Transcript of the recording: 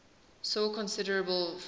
saw considerable friction